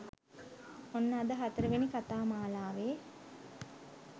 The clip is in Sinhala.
ඔන්න අද හතරවෙනි කතාමාලාවේ